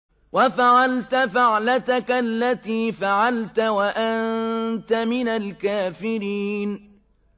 وَفَعَلْتَ فَعْلَتَكَ الَّتِي فَعَلْتَ وَأَنتَ مِنَ الْكَافِرِينَ